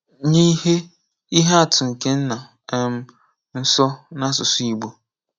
Nye ihe ihe atụ nke nna um nso n'asụsụ Igbo.